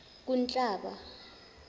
kunhlaba